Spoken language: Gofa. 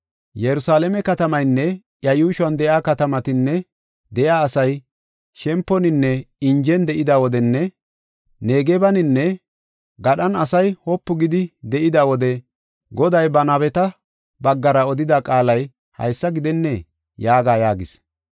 Yerusalaame katamaynne iya yuushuwan de7iya katamatan de7iya asay shemponinne injen de7ida wodenne Negebaninne gadhan asay wopu gidi de7ida wode Goday ba nabeta baggara odida qaalay haysa gidennee?’ yaaga” yaagis.